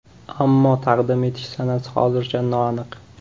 Ammo taqdim etish sanasi hozircha noaniq.